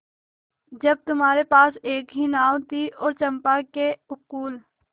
जब तुम्हारे पास एक ही नाव थी और चंपा के उपकूल